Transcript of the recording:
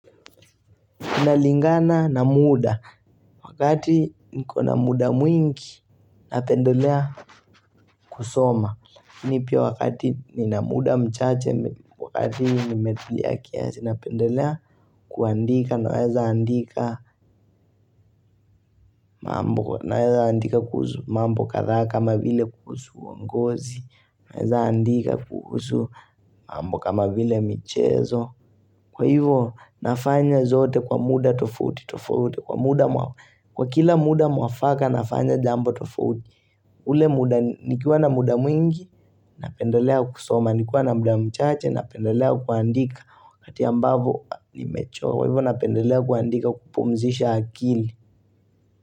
Inalingana na muda, wakati niko na muda mwingi, napendelea kusoma. Mi pia wakati nina muda mchache, wakati nimetulia kiasi, napendelea kuandika, naweza andika mambo, naweza andika kuhusu mambo kadhaa kama vile kuhusu uongozi, naweza andika kuhusu mambo kama vile michezo. Kwa hivyo, nafanya zote kwa muda tofauti tofauti, kwa kila muda mwafaka, nafanya jambo tofauti. Nikiwa na muda mwingi, napendelea kusoma, nikua na muda michache, napendelea kuandika, wakati ambavo nimechoka. Kwa hivyo, napendelea kuandika kupumzisha akili.